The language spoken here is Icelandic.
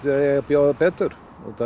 eigi að bjóða betur